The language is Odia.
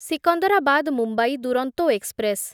ସିକନ୍ଦରାବାଦ ମୁମ୍ବାଇ ଦୁରନ୍ତୋ ଏକ୍ସପ୍ରେସ୍